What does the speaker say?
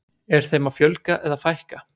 Er þeim að fjölga eða fækka?